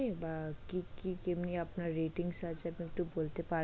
বা কি কি কেমনি ratings আছে আপনি একটু বলতে পারবেন?